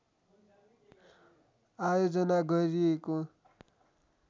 आयोजना गरिएको